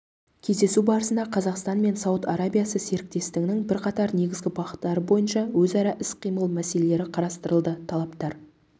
кездесу барысында қазақстан мен сауд арабиясы серіктестігінің бірқатар негізгі бағыттары бойынша өзара іс-қимыл мәселелері қарастырылды тараптар